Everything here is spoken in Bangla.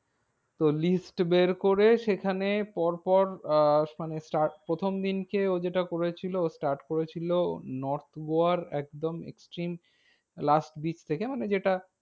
তো list বের করে, সেখানে পর পর আহ মানে প্রথম দিন কে ও যেটা করেছিল ও start করেছিল north গোয়ার একদম extreme last beach থেকে। মানে যেটা